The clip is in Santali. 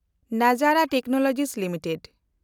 ᱱᱟᱡᱮᱱᱰᱟ ᱴᱮᱠᱱᱳᱞᱚᱡᱤ ᱞᱤᱢᱤᱴᱮᱰ